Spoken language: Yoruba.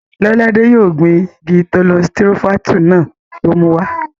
Lọ́ládé yóò gbin igi tọ́lọ́n sitirofáńtù náà tó mú wá